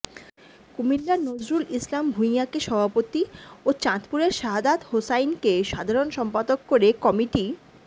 কুমিল্লার নজরুল ইসলাম ভূঁইয়াকে সভাপতি ও চাঁদপুরের শাহাদাত হোসাইনকে সাধারণ সম্পাদক করে কমিটি